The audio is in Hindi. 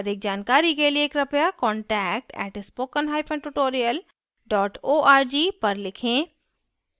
अधिक जानकारी के लिए contact @spokentutorial org पर लिखें